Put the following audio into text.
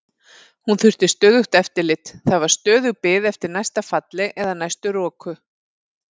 Hún þurfti stöðugt eftirlit, það var stöðug bið eftir næsta falli eða næstu roku.